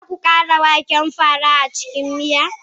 Za ku ƙara waken fara a cikin miya?